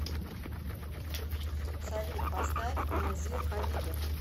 салют поставь назир хабибов